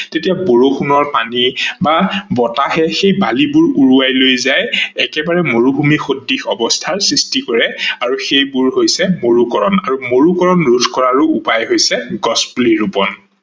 তেতিয়া বৰষুনৰ পানী বা বতাহে সেই বালিবোৰ উৰোৱাই লৈ যায় একেবাৰে মৰুভূমি সদৃশ অৱস্থাৰ সৃষ্টি কৰে আৰু সেইবোৰ হৈছে মৰুকৰন আৰু মৰুকৰনো ৰোধ কৰাৰো উপায় হৈছে গছ পুলি ৰুপন।